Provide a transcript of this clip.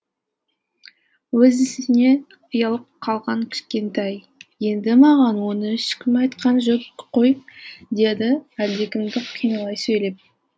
өз ісіне ұялып қалған кішкентай енді маған оны ешкім айтқан жоқ қой деді әлдекімді кінәлай сөйлеп